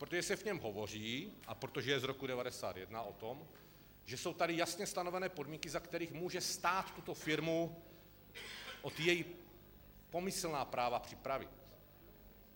Protože se v něm hovoří, a protože je z roku 1991, o tom, že jsou tady jasně stanovené podmínky, za kterých může stát tuto firmu o její pomyslná práva připravit.